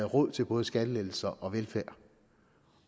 råd til både skattelettelser og velfærd